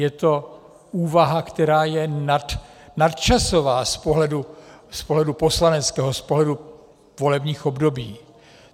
Je to úvaha, která je nadčasová z pohledu poslaneckého, z pohledu volebních období.